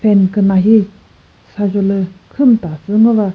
küna hi sazholü khüm ta sü ngo va.